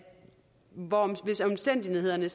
hvis omstændighederne